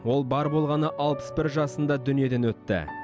ол бар болғаны алпыс бір жасында дүниеден өтті